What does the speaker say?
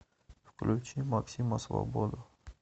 включи максима свободу